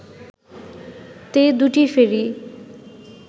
তে দুটি ফেরি